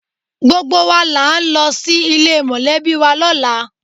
Gbogbo wa là ń lọ sí ilé mọ̀lẹ́bì wa lọ́la